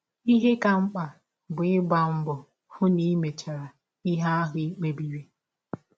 Ihe ka mkpa bụ ịgba mbọ hụ na i mechara ihe ahụ i kpebiri.